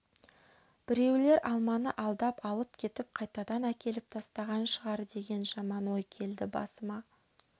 біреулер алманы алдап алып кетіп қайтадан әкеліп тастаған шығар деген жаман ой келді басыма